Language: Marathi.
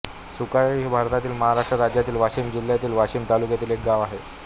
सुकाळी हे भारतातील महाराष्ट्र राज्यातील वाशिम जिल्ह्यातील वाशीम तालुक्यातील एक गाव आहे